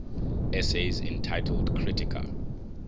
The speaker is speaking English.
essays entitled kritika